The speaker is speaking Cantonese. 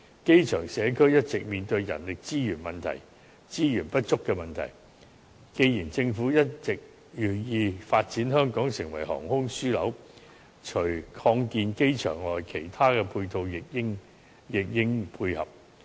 機場社區一直面對人力資源不足的問題，既然政府一直銳意發展香港成為航空樞紐，除擴建機場外，其他配套亦應配合。